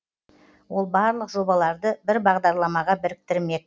ол барлық жобаларды бір бағдарламаға біріктірмек